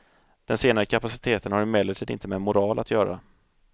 Den senare kapaciteten har emellertid inte med moral att göra.